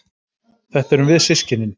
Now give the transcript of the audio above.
Þetta erum við systkinin.